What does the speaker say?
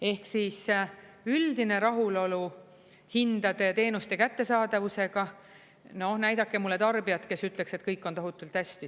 Ehk siis üldine rahulolu hindade ja teenuste kättesaadavusega – no näidake mulle tarbijat, kes ütleks, et kõik on tohutult hästi.